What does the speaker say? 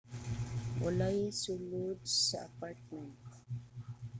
walay tawo sa sulod sa apartment